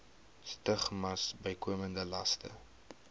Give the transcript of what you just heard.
stigmas bykomende laste